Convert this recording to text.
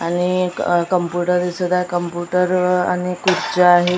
अनेक computer computer आणि खुर्च्या आहेत.